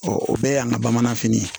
o bɛɛ y'an ka bamanfini ye